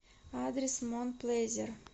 адрес мон плезир